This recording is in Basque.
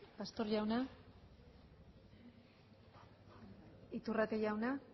pastor jauna iturrate jauna